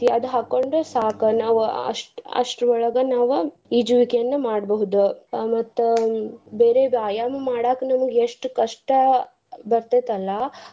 ಅದ್ ಹಾಕ್ಕೊಂಡ್ರ ಸಾಕ ನಾವ್ ಅಷ್ತ್ರ ಅಷ್ತ್ರ ಒಳಗ ನಾವ್ ಈಜುವಿಕೆಯನ್ನ ಮಾಡ್ಬಹುದು ಮತ್ತ್ ಬೇರೆ ವ್ಯಾಯಾಮ ಮಾಡಾಕ್ ಎಷ್ಟ್ ಕಷ್ಟ ಬರ್ತೇತಲ್ಲ.